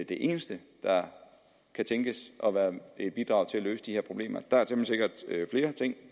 det eneste der kan tænkes at være et bidrag til at løse de her problemer der er temmelig sikkert flere ting